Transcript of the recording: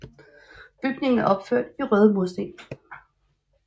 Bygningen er opført i røde mursten